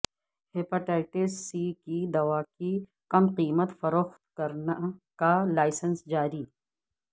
hepatitis C کی دوا کی کم قیمت فروخت کا لائسنس جاری